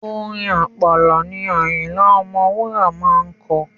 Orin Àpàlà ni Àyìnlá Ọmọwúrà máa ń kọ.